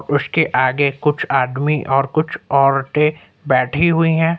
उसके आगे कुछ आदमी और कुछ औरतें बैठी हुई हैं।